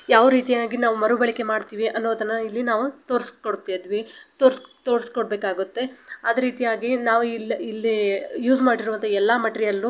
ಯಾವ ರೀತಿಯಾಗಿ ನಾವು ಮರುಬಳಕೆ ಮಾಡ್ತೀವಿ ಅನ್ನೋದನ್ನ ಇಲ್ಲಿ ನಾವು ತೋರಿಕೊಡ್ತಿವಿ ತೊಸ್ಡಿ ತೊಡ್ಸಿಕೊಡ್ ಬೇಕಾಗುತ್ತೆ ಅದ ರೀತಿಯಾಗಿ ನಾವ್ ಇಲ್ಲ ಇಲ್ಲಿ ಯೂಸ್ ಮಾಡಿರುವಂತಹ ಎಲ್ಲಾ ಮೆಟೀರಿಯಳು --